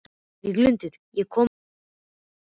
Víglundur, ég kom með fjörutíu og níu húfur!